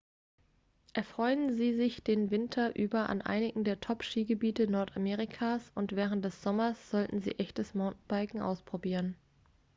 erfreuen sie sich den winter über an einigen der top-skigebiete nordamerikas und während des sommers sollten sie echtes mountainbiken ausprobieren